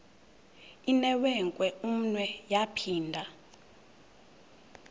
inewenkwe umnwe yaphinda